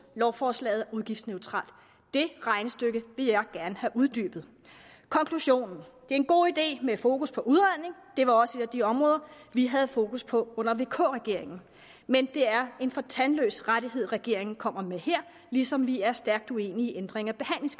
lovforslaget er udgiftsneutralt det regnestykke vil jeg gerne have uddybet konklusion det er en god idé med fokus på udredning det var også et af de områder vi havde fokus på under vk regeringen men det er en for tandløs rettighed regeringen kommer med her ligesom vi er stærkt uenige i ændringen